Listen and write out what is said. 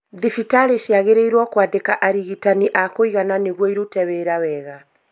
Thibitarĩ ciagĩrĩirwo kwandĩka arigitani a kũigana nĩguo ĩrute wira wega